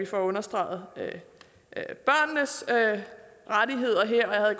få understreget barnets rettigheder her og jeg